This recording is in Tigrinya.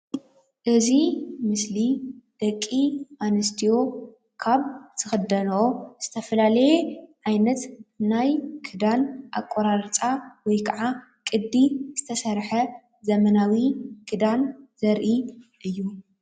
እዚ ምስሊ ደቂ ኣንስትዮ ካብ ዝኽደንኦ ዝተፈላለየ ዓይነት ናይ ክዳን ኣቆራርፃ ወይ ከዓ ቅዲ ዝተሰረሓ ዘመናዊ ክዳን ዘርኢ እዩ።